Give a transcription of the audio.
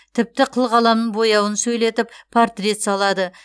тіпті қылқаламның бояуын сөйлетіп портрет салады